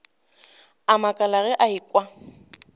a makala ge a ekwa